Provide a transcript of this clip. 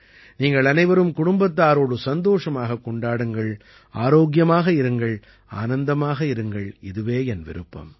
நீங்கள் அனைவரும் குடும்பத்தாரோடு சந்தோஷமாகக் கொண்டாடுங்கள் ஆரோக்கியமாக இருங்கள் ஆனந்தமாக இருங்கள் இதுவே என் விருப்பம்